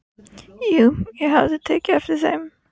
Jú, ég hafði tekið eftir þeim.